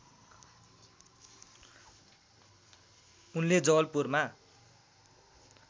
उनले जवलपुरमा